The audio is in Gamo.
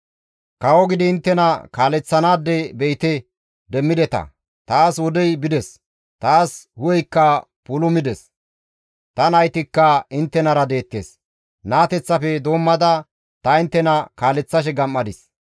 Kawo gidi inttena kaaleththanaade be7ite demmideta; taas wodey bides; taas hu7eykka puulumides; ta naytikka inttenara deettes; naateteththafe doommada ta inttena kaaleththashe gam7adis.